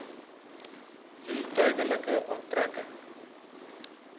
wie tydelike onttrekking